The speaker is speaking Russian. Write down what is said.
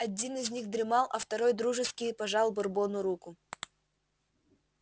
один из них дремал а второй дружески пожал бурбону руку